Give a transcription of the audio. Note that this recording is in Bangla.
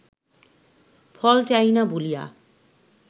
ফল চাহি না বলিয়া